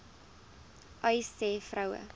uys sê vroue